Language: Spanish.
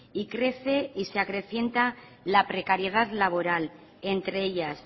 y crece y se acrecienta la precariedad laboral entre ellas